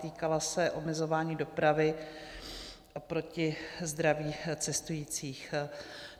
Týkala se omezování dopravy oproti zdraví cestujících.